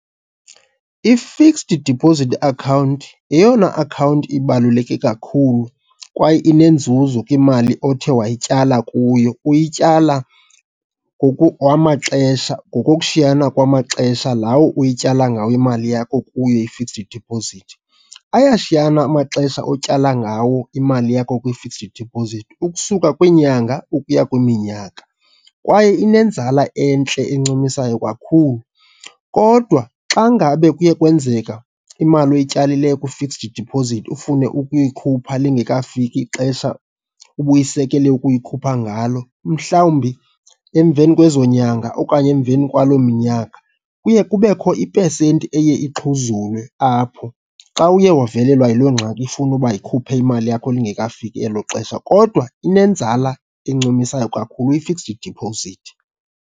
I-fixed deposit account yeyona akhawunti ibaluleke kakhulu kwaye inenzuzo imali othe wayityala kuyo, uyityala wamaxesha ngokokushiyana kwamaxesha lawo uyityala ngawo imali yakho kuyo i-fixed deposit. Ayashiyana amaxesha otyala ngawo imali yakho kwi-fixed deposit, ukusuka kwiinyanga ukuya kwiminyaka, kwaye inenzala entle encumisayo kakhulu. Kodwa xa ngabe kuye kwenzeka imali oyityalileyo kwi-fixed deposit ufune ukuyikhupha lingekafiki ixesha ubuyisekele ukuyikhupha ngalo, mhlawumbi emveni kwezo nyanga okanye emveni kwaloo minyaka, kuye kubekho ipesenti eye ixhuzulwe apho. Xa uye wavelelwa yiloo ngxaki ifuna uba yikhuphe imali yakho lingekafiki elo xesha, kodwa inenzala encumisayo kakhulu i-fixed deposit.